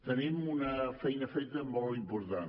tenim una feina feta molt important